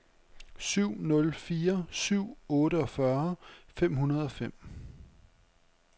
syv nul fire syv otteogfyrre fem hundrede og fem